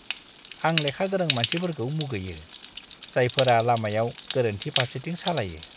आं लेखा-गोरों मानसिफोरखौ मुगैयो, जायफोरा लामायाव गोरोन्थि फारसेथिं सालायो!